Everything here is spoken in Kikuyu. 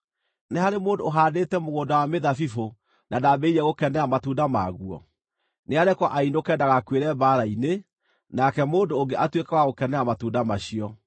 Nĩ harĩ mũndũ ũhaandĩte mũgũnda wa mĩthabibũ na ndambĩrĩirie gũkenera matunda maguo? Nĩarekwo ainũke ndagakuĩre mbaara-inĩ nake mũndũ ũngĩ atuĩke wa gũkenera matunda macio.